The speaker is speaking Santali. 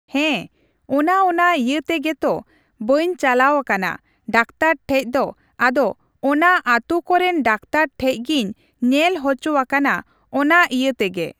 ᱦᱮᱸ ᱚᱱᱟ ᱚᱱᱟ ᱤᱭᱟᱹ ᱛᱮᱜᱮ ᱛᱚ ᱵᱟᱹᱧ ᱪᱟᱞᱟᱣ ᱟᱠᱟᱱᱟ ᱰᱟᱠᱛᱟᱨ ᱴᱷᱮᱡᱫᱚ ᱟᱫᱚ ᱚᱱᱟ ᱟᱹᱛᱩ ᱠᱚᱨᱮᱱ ᱰᱟᱠᱛᱟᱨ ᱴᱷᱮᱡ ᱜᱤᱧ ᱧᱮᱞ ᱚᱪᱚ ᱟᱠᱟᱱᱟ ᱚᱱᱟ ᱤᱭᱟᱹ ᱛᱮᱜᱮ|